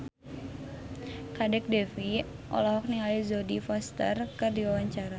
Kadek Devi olohok ningali Jodie Foster keur diwawancara